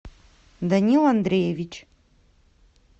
данил андреевич